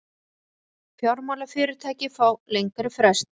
Fjármálafyrirtæki fá lengri frest